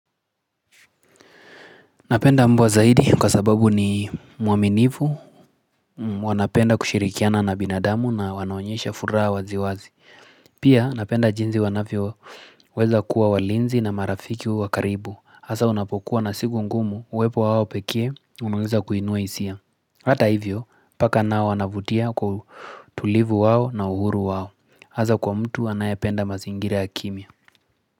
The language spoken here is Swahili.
Napenda mbwa zaidi kwa sababu ni mwaminifu wanapenda kushirikiana na binadamu na wanaonyesha furaha waziwazi Pia napenda jinsi wanavyoo weza kuwa walinzi na marafiki wa karibu Hasa unapokuwa na siku ngumu uwepo wao pekee unaweza kuinua hisia Hata hivyo paka nao wanavutia kwa utulivu wao na uhuru wao Hasa kwa mtu anayapenda mazingira ya kimya.